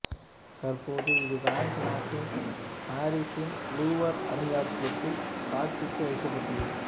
தற்போது இது பிரான்சு நாட்டின் பாரிசின் லூவர் அருங்காட்சியகத்தில் காட்சிக்கு வைக்கப்பட்டுள்ளது